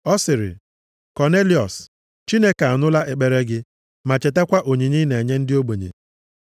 Ọ sịrị, Kọnelịọs, ‘Chineke anụla ekpere gị ma chetakwa onyinye ị na-enye ndị ogbenye.